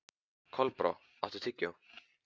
Kolbrá, áttu tyggjó?